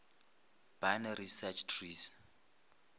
binary search trees